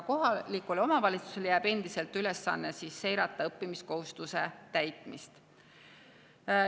Kohalikule omavalitsusele jääb endiselt ülesanne seirata õppimiskohustuse täitmist.